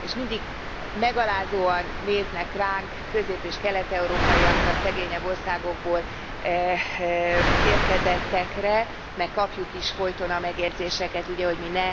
És mindig megalázóan néznek ránk, közép és kelet európaiakra, szegényebb országokból érkezettekre, meg kapjuk is folyton a megjegyzéseket, hogy ugye mi ne